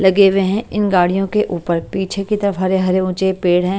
लगे हुए हैं इन गाड़ियों के ऊपर पीछे की तरफ हरे हरे ऊंचे पेड़ हैं।